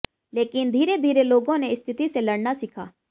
लेकिन धीरे धीरे लोगों ने स्थिति से लड़ना सीखा